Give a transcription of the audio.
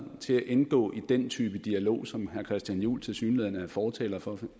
til at indgå i den type dialog som herre christian juhl tilsyneladende er fortaler for